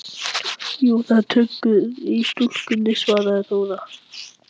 Jú, það er töggur í stúlkunni, svaraði Þóra.